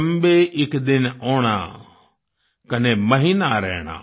चंबे इक दिन ओणा कने महीना रैणा